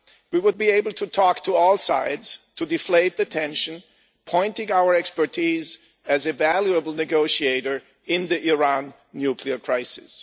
We would be able to talk to all sides, to deflate the tension, pointing to our expertise as a valuable negotiator in the Iran nuclear crisis.